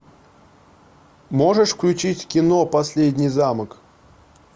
можешь включить кино последний замок